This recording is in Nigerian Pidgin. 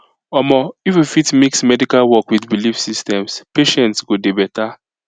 omo if we fit mix medical work with belief systems patients go dey better